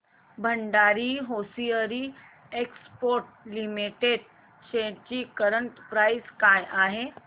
Bhandari hosiery exports limited shares ची current price काय आहे